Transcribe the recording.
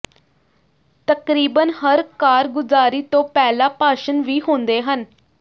ਤਕਰੀਬਨ ਹਰ ਕਾਰਗੁਜ਼ਾਰੀ ਤੋਂ ਪਹਿਲਾਂ ਭਾਸ਼ਣ ਵੀ ਹੁੰਦੇ ਹਨ